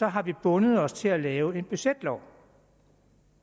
har vi bundet os til at lave en budgetlov